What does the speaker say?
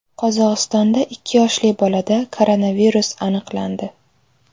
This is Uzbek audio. Qozog‘istonda ikki yoshli bolada koronavirus aniqlandi.